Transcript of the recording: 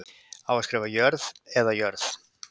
Á að skrifa Jörð eða jörð?